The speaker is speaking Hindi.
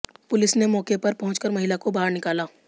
पुलिस ने मौके पर पहुंचकर महिला को बाहर निकाला